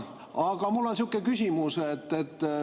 Aga mul on selline küsimus.